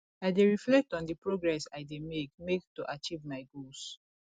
i dey reflect on di progress i dey make make to achieve my goals